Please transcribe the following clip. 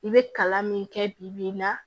I bɛ kalan min kɛ bibi in na